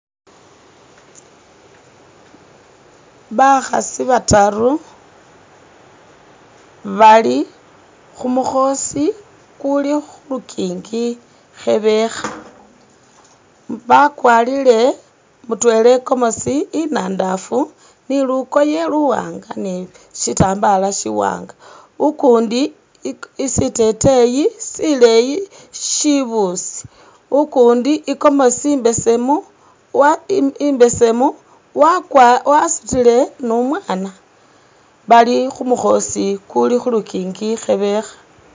Bakhaasi bataru bali khumukhosi kuli khulunkinki khebekha bakwarile mutwela i'gomezi inadafu ni lukoye luwanga ni sitambala si'wanga ukundi iki siteteyi sileyi shibusi ukundi i'komosi imbesemu wa i'imbesemu wakwa wasutile nu'mwaana bali khumukhosi kuli khulunkinki khebekha